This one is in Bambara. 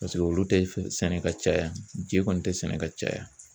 Paseke olu tɛ sɛnɛ ka caya je kɔni tɛ sɛnɛ ka caya.